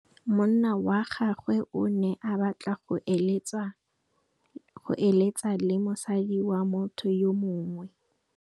Monna wa gagwe o ne a batla go êlêtsa le mosadi wa motho yo mongwe.